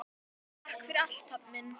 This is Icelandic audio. Takk fyrir allt, pabbi minn.